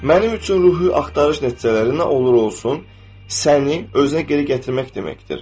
Mənim üçün ruhi axtarış nəticələri nə olur olsun, səni özünə geri gətirmək deməkdir.